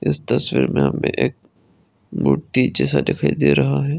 इस तस्वीर में हमे एक मूर्ति जैसा दिखाई दे रहा है।